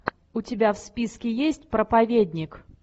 у тебя в списке есть проповедник